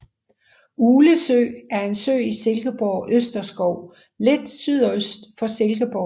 Uglesø er en sø i Silkeborg Østerskov lidt sydøst for Silkeborg